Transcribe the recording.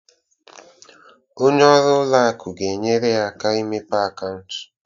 Onye ọrụ ụlọ akụ ga-enyere ya imepe akaụntụ.